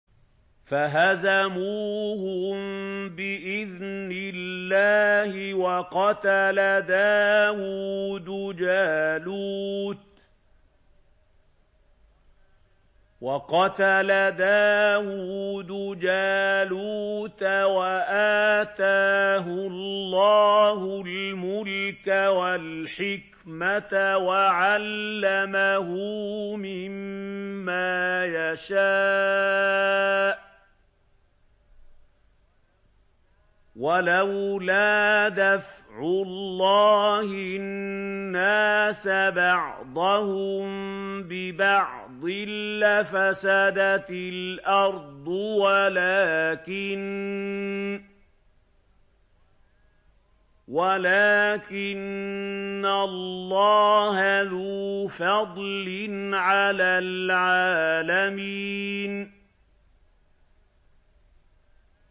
فَهَزَمُوهُم بِإِذْنِ اللَّهِ وَقَتَلَ دَاوُودُ جَالُوتَ وَآتَاهُ اللَّهُ الْمُلْكَ وَالْحِكْمَةَ وَعَلَّمَهُ مِمَّا يَشَاءُ ۗ وَلَوْلَا دَفْعُ اللَّهِ النَّاسَ بَعْضَهُم بِبَعْضٍ لَّفَسَدَتِ الْأَرْضُ وَلَٰكِنَّ اللَّهَ ذُو فَضْلٍ عَلَى الْعَالَمِينَ